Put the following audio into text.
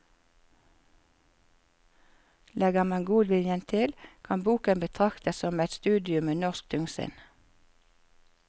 Legger man godviljen til, kan boken betraktes som et studium i norsk tungsinn.